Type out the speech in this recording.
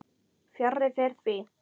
Fjarri fer því.